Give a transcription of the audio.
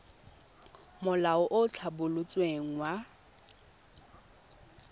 molao o o tlhabolotsweng wa